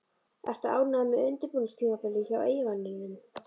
Ertu ánægður með undirbúningstímabilið hjá Eyjamönnum?